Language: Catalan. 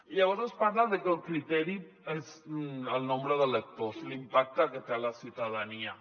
llavors es parla de que el criteri és el nombre d’electors l’im·pacte que té a la ciutadania